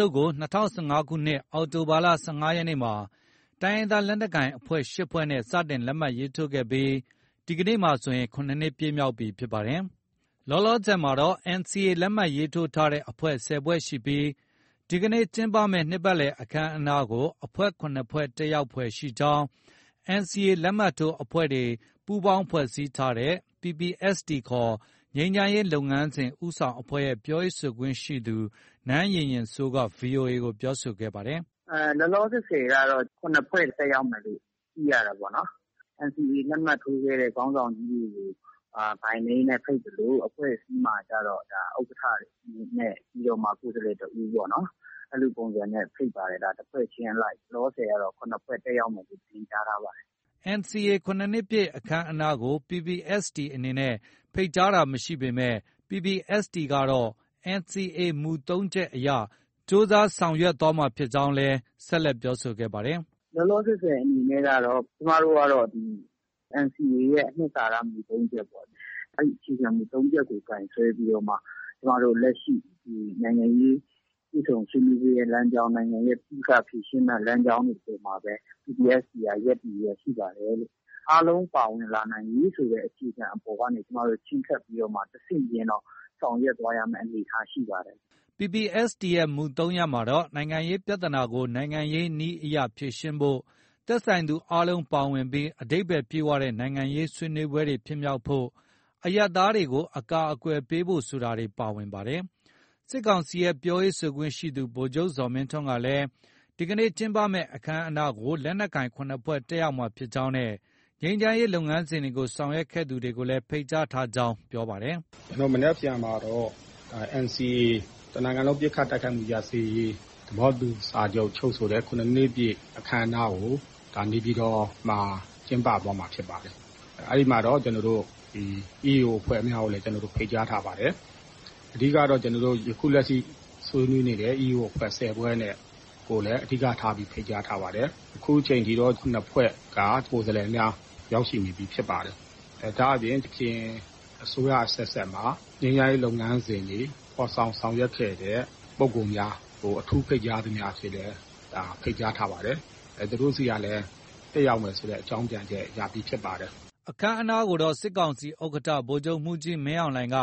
ျုပ်ကို ၂၀၁၅ခုနှစ် အောက်တိုဘာလ ၁၅ရက်နေ့က တိုင်းရင်းသားလက်နက်ကိုင်အဖွဲ့ ၈ဖွဲ့နဲ့ စတင်လက်မှတ်ရေးထိုးခဲ့ပြီး မနက်ဖန်မှာဆို ၇နှစ် ပြည့်မြောက်ခဲ့ပြီဖြစ်ပါတယ်။ လောလောဆည်မှာတော့ NCA လက်မှတ် ရေးထိုးထားတဲ့အဖွဲ့ ၁၀ဖွဲ့ရှိပြီး မနက်ဖန်မှာ ကျင်းပမယ့် နှစ်ပတ်လည် အခမ်းအနားကို အဖွဲ့ ၇ဖွဲ့ တက်ရောက်ဖွယ်ရှိကြောင်း NCA လက်မှတ်ထိုးအဖွဲ့တွေ ပူးပေါင်းဖွဲ့စည်းထားတဲ့ PPST ခေါ် ငြိမ်းချမ်းရေးလုပ်ငန်းစဉ်ဦးဆောင်အဖွဲ့ရဲ့ ပြောရေးဆိုခွင့်ရှိသူ နန်းယဉ်ယဉ်စိုး က VOA ကို ပြောပါတယ်။ “ လောလောဆည်ကတော့ ၇ဖွဲ့ တက်ရောက်မယ်လို့ သိရတာပေါ့နော်။ NCA လက်မှတ်ထိုးခဲ့တဲ့ ခေါင်းဆောင်ကြီးတွေကို By Name နဲ့ ဖိတ်သလို အဖွဲ့အစည်းမှာကျတော့ ဥက္ကဌတွေနဲ့ ကိုယ်စားလှယ် တဦးပေါ့နော်။ အဲလိုပုံစံနဲ့ ဖိတ်ပါတယ်။ တစ်ဖွဲ့ချင်းအလိုက် လောလောဆည်ကတော့ ၇ဖွဲ့တက်မယ်လို့ သတင်းကြားထားပါတယ်။” NCA ၇နှစ်ပြည့်အခမ်းအနားကို PPST အနေနဲ့ ဖိတ်ကြားတာမရှိပေမဲ့ PPST ကတော့ NCA မူ ၃ချက်အရ ကြိုးစားဆောင်ရွက်သွားမှာ ဖြစ်ကြောင်းလည်း ဆက်ပြောပါတယ်။ “ လောလောဆည်ဆည် အနေနဲ့ကတော့ ကျမတို့ကတော့ ဒီ NCA ရဲ့ အနှစ်သာရ မူ ၃ချက်ပေါ့။ အဲဒီ အခြေခံမူ ၃ချက်ကို ကိုင်စွဲပြီးတော့မှ ကျမတို့ လက်ရှိ နိုင်ငံရေး တွေ့ဆုံဆွေးနွေးပွဲ လမ်းကြောင်း၊ နိုင်ငံရဲ့ ပဋိပက္ခဖြေရှင်းတဲ့ လမ်းကြောင်းတွေအပေါ်မှာပဲ PPST က ရပ်တည်လျက်ရှိပါတယ်။ အားလုံးပါနိုင်ရေး ဆိုတဲ့အခြေခံအပေါ်ကနေ ကျမတို့ ချဉ်းကပ်ပြီးတော့မှ တစ်ဆင့်ချင်းတော့ ဆောင်ရွက်သွားရမယ့် အနေအထားရှိပါတယ်။” PPST ရဲ့ မူ ၃ရပ်မှာတော့ နိုင်ငံရေး ပြဿနာကို နိုင်ငံရေးနည်းအရ ဖြေရှင်းဖု့ိ၊ သက်ဆိုင်သူအားလုံးပါဝင်ပြီး အဓိပ္ပါယ်ပြည့်ဝတဲ့ နိုင်ငံရေးဆွေးနွေးပွဲတွေဖြစ်မြောက်ဖို့၊ အရပ်သားတွေကို အကာအကွယ်ပေးဖို့ဆိုတာတွေ ပါဝင်ပါတယ်။ စစ်ကောင်စီရဲ့ ပြောရေးဆိုခွင့်ရှိသူ ဗိုလ်ချုပ်ဇော်မင်းထွန်းကလည်း မနက်ဖန်ကျင်းပမယ့် အခမ်းအနားကို လက်နက်ကိုင် ၇ဖွဲ့ တက်ရောက်မှာ ဖြစ်ကြောင်းနဲ့ ငြိမ်းချမ်းရေး လုပ်ငန်းစဉ်ကို ဆောင်ရွက်ခဲ့သူတွေကိုလည်း ဖိတ်ကြားထားကြောင်း ပြောပါတယ်။ “ ကျနော်တို့ မနက်ဖန်မှာတော့ NCA တနိုင်ငံလုံး ပစ်ခတ် တိုက်ခိုက်မှု ရပ်စဲရေး သဘောတူ စာချုပ်ချုပ်ဆိုတဲ့ ၇နှစ်ပြည့် အခမ်းအနားကို နေပြည်တော်မှာ ကျင်းပသွားမှာဖြစ်ပါတယ်။ အဲဒီမှာတော့ EAO အဖွဲ့များကိုလည်း ဖိတ်ကြားထားပါတယ်။ အဓိက ကတော့ ကျနော်တို့ အခုလက်ရှိ ဆွေးနွေးနေတဲ့ EAO အဖွဲ့ ၁၀ဖွဲ့နဲ့.ကိုလည်း အဓိက ထားပြီး ဖိတ်ကြားထားပါတယ်။ အခုချိန်ထိတော့ ၇ဖွဲ့က ကိုယ်စားလှယ်များ ရောက်ရှိနေပြီးဖြစ်ပါတယ်။ ဒါအပြင် ယခင် အစိုးရ အဆက်ဆက်မှာ ငြိမ်းချမ်းရေး လုပ်ငန်းစဉ်တွေ ဖော်ဆောင်ဆောင်ရွက်ခဲ့တဲ့ ပုဂ္ဂိုလ်များကို အထူးဖိတ်ကြားသူများအဖြစ်လည်း ဖိတ်ကြားထားပါတယ်။ သူတို့ဆီကလည်း တက်ရောက်မယ်ဆိုတဲ့ အကြောင်း ပြန်ချက် ရပြီးဖြစ်ပါတယ်။” အခမ်းအနားကိုတော့ စစ်ကောင်စီဥက္ကဌ ဗိုလ်ချုပ်မှုးကြီး မင်းအောင်လှိုင်က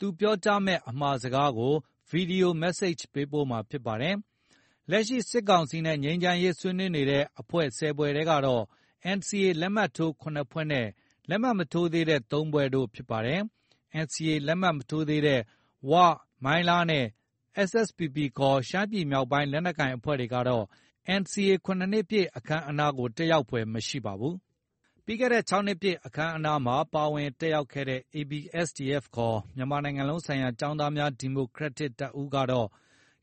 သူပြောကြားမယ့် အမှာစကားကို Video message ပေးပို့မှာဖြစ်ပါတယ်။ လက်ရှိ စစ်ကောင်စီနဲ့ ငြိမ်းချမ်းရေးဆွေးနွေးနေတဲ့ အဖွဲ့ ၁၀ဖွဲ့ကတော့ NCA လက်မှတ်ထိုး ၇ဖွဲ့နဲ့ လက်မှတ် မထိုးသေးတဲ့ ၃ဖွဲ့တို့ ဖြစ်ပါတယ်။ NCA လက်မှတ် မထိုးသေးတဲ့ ဝ၊ မိုင်းလားနဲ့ SSPP ခေါ် ရှမ်းပြည်မြောက်ပိုင်း လက်နက်ကိုင်အဖွဲ့တွေကတော့ NCA ၇နှစ်ပြည့် အခမ်းအနားကို တက်ရောက်ဖွယ်မရှိပါဘူး။ ပြီးခဲ့တဲ့ ၆နှစ်ပြည့် အခမ်းအနားမှာ ပါဝင်တက်ရောက်ခဲ့တဲ့ ABSDF ခေါ် မြန်မာနိုင်ငံလုံးဆိုင်ရာ ကျောင်းသားများ ဒီမိုကရက်တစ်တပ်ဦး ကတော့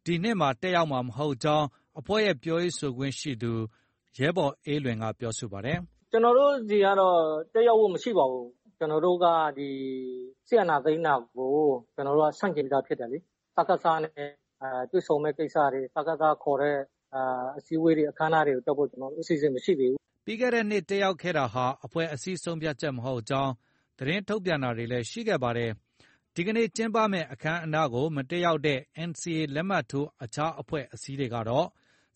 ဒီနှစ်မှာ တက်ရောက်မှာ မဟုတ်ကြောင်း အဖွဲ့ရဲ့ ပြောရေးဆိုခွင့်ရှိသူ ရဲဘော်အေးလွင်က ပြောပါတယ်။ “ ကျနော်တို့ ဆီကတော့ တက်ရောက်ဖို့ မရှိပါဘူး။ ကျနော်တို့က စစ်အာဏာသိမ်းတာကို ဆန့်ကျင်ပြီးသား ဖြစ်တယ်လေ။ စကစနဲ့ တွေ့ဆုံမယ့်ကိစ္စတွေ၊ စကစ ခေါ်တဲ့ အစည်းအဝေးတွေ၊ အခမ်းအနားတွေကို တက်ဖို့ အစီအစဉ်မရှိသေးဘူး။” ပြီးခဲ့တဲ့နှစ် တက်ရောက်ခဲ့တာဟာ အဖွဲ့အစည်း ဆုံးဖြတ်ချက် မဟုတ်ကြောင်း သတင်းထုတ်ပြန်တာတွေလည်း ရှိခဲ့ပါတယ်။ မနက်ဖန် ကျင်းပမယ့်အခမ်းအနားကို မတက်ရောက်တဲ့ NCA လက်မှတ်ထိုး အခြားအဖွဲ့အစည်းတွေကတော့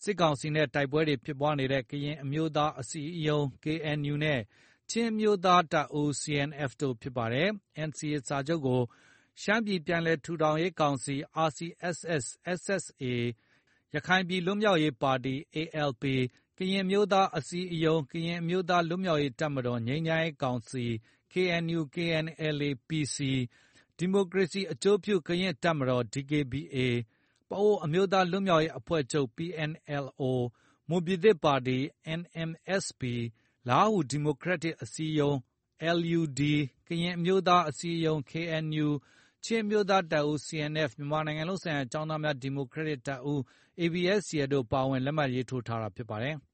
စစ်ကောင်စီနဲ့ တိုက်ပွဲတွေ ဖြစ်ပွားနေတဲ့ ကရင်အမျိုးသားအစည်းအရုံး KNU နဲ့ ချင်းအမျိုးသားတပ်ဦးCNF တို့ဖြစ်ပါတယ်။ NCA စာချုပ်ကို ရှမ်းပြည်ပြန်လည်ထူထောင်ရေးကောင်စီ ၊ ရခိုင် ပြည်နယ် လွတ်မြောက်ရေးပါတီ ၊ ကရင်အမျိုးသားအစည်းအရုံး/ ကရင် အမျိုးသား လွတ်မြောက်ရေးတပ်မတော်-ငြိမ်းချမ်းရေးကောင်စီ ၊ ဒီမိုကရေစီ အကျိုးပြု ကရင်တပ်မတော် ၊ ပအိုဝ်းအမျိုးသား လွတ် မြောက်ရေး အဖွဲ့ချုပ် ၊ ၊မွန်ပြည်သစ်ပါတီ ၊ လားဟူ ဒီမိုကရက်တစ် အစည်းအရုံး ၊ ကရင်အမျိုးသားအစည်းအရုံး ၊ ချင်းအမျိုးသားတပ်ဦး ၊ မြန်မာနိုင်ငံလုံးဆိုင်ရာ ကျောင်းသားများ ဒီမိုကရက်တပ်ဦး တို့ ပါဝင် လက်မှတ်ရေးထိုးထားတာဖြစ်ပါတယ်။